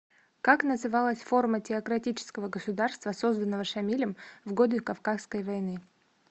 как называлась форма теократического государства созданного шамилем в годы кавказской войны